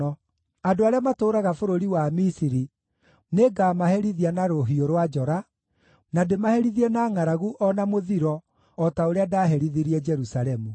andũ arĩa matũũraga bũrũri wa Misiri nĩngamaherithia na rũhiũ rwa njora, na ndĩmaherithie na ngʼaragu o na mũthiro, o ta ũrĩa ndaaherithirie Jerusalemu.